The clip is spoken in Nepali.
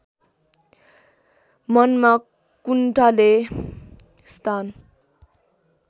मनमा कुण्ठाले स्थान